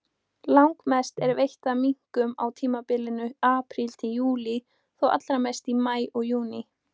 Langmest er veitt af minkum á tímabilinu apríl-júlí, þó allra mest í maí og júní.